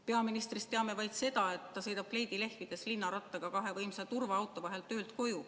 Peaministrist teame vaid seda, et ta sõidab kleidi lehvides linnarattaga kahe võimsa turvaauto vahel töölt koju.